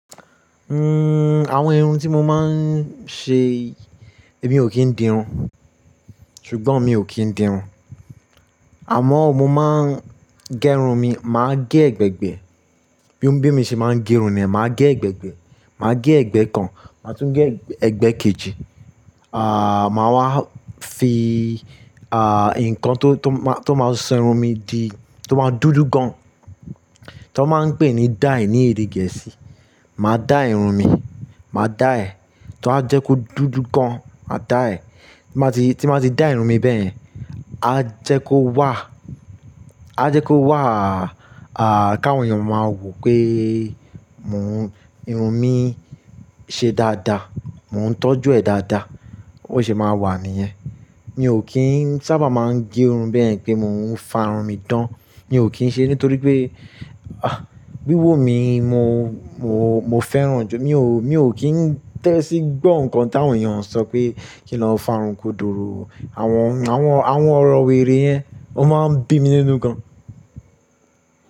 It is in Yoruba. Awọn irun ti mo máa ń ṣe, èmi ò kí ń di irun, ṣùgbọ́n mi ò kí ń di irun. Àmọ́ mo máa ń gé irun mi, màá gé ẹ̀gbẹ̀gbẹ́. Bi-- bi mo ṣe máa ń gé irun ni, màá gé ẹ̀gbẹ̀gbẹ́, màá gé ẹ̀gbẹ́ kan, màá tún gé ẹ̀gbẹ́ kejì. À, màá wá fi, à, ǹkan tó, tó máa, tó máa ṣerun mi di, tó máa dúdú gan, tó wọ́n máa ń pè ní dye ní èdè Gẹ̀ẹ́sì. Màá dye irun mi, màá dye, tó à jẹ́ kó dúdú gan, màá dye. Tí máa ti, tí màá ti dye irun mi bẹ́ẹ̀ yin, a jẹ́ kó wà, a jẹ́ kó wà, à, kí àwọn èèyàn máa wò pé mò ń, irun mi ṣe dáadáa, mò ń tọ́jú ẹ̀ dáadáa, ó sì máa wà níyẹn. Mi ò kí ń sábà máa ń gé irun bẹ́ẹ̀ yin pé mò ń fà irun mi dán, mi ò kí ń ṣe, nítorí pé, àh, bí wò mí, mo, mo, mo fẹ́ràn ju, mi ò, mi ò kí ń tẹ́sí gbọ́ ǹkan tí àwọn èèyàn ń sọ pé kí lọ fà irun koduro. Àwọn, àwọn, àwọn ọ̀rọ̀ wèrè yẹn, ó máa ń bí mi nínú gan.